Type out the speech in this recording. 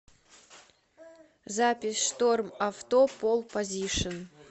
запись штормавто пол позишн